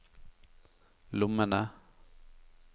lommene